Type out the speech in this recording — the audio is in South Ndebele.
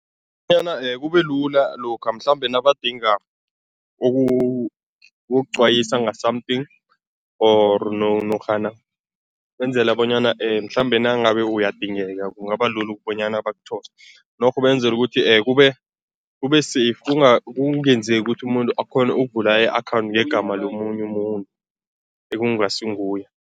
Bonyana kube lula lokha mhlambe nabadinga ukukuqwayisa nga-something or norhana benzela bonyana mhlambe nangabe uyadingeka, kungaba lula ukubonyana bakuthole, norho benzela ukuthi kube kube-safe, kungenzeki ukuthi umuntu akghone ukuvula i-account ngegama lomunye umuntu ekungasinguye.